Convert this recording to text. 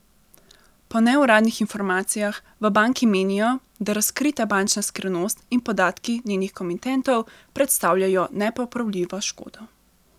Po neuradnih informacijah v banki menijo, da razkrita bančna skrivnost in podatki njenih komitentov predstavljajo nepopravljivo škodo.